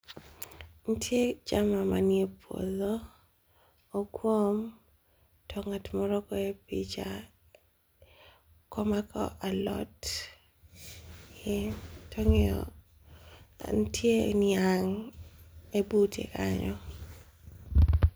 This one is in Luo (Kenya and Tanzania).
Ni tie jama ma ni e puodho o gwom to ngat moro goye picha ka o mako alot to o ngiyo to ni tie niang e bute kanyo.